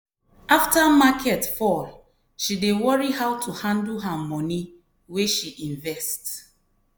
after market fall she dey worry how to handle her money wey she invest.